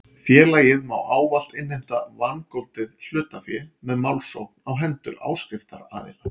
Félagið má ávallt innheimta vangoldið hlutafé með málsókn á hendur áskriftaraðila.